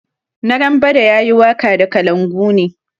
Narambada ya yi waka da kalangu ne.